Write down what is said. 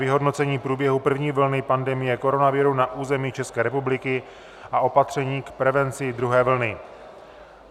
Vyhodnocení průběhu první vlny pandemie koronaviru na území České republiky a opatření k prevenci druhé vlny